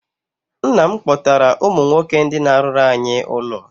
Nna m kpọtara ụmụ nwoke ndị na-arụrụ anyị ụlọ.